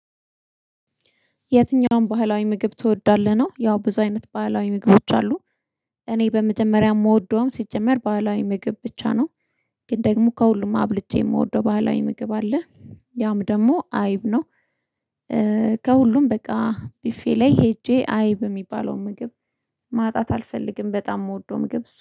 የትኛውን ባህላዊ ምግብ ትወዳለህ ነው? ያው ብዙ አይነት ባህላዊ ምግቦች አሉ፤ እኔ በመጀመሪያ የምወደውም፣ ሲጀመር ባህላዊ ምግብ ብቻ ነው። ግን ደግሞ ከሁሉም አብልጬ የምወደው ባህላዊ ምግብ አለ፤ ያም ደግሞ አይብ ነው። ከሁሉም በቃ፣ ቡፌ ላይ ሄጄ አይብ የሚባለውን ምግብ ማጣት አልፈልግም፤ በጣም የምወደው ምግብ ነው።